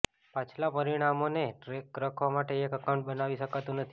પાછલા પરિણામોનો ટ્રૅક રાખવા માટે એક એકાઉન્ટ બનાવી શકાતું નથી